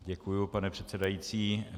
Děkuju, pane předsedající.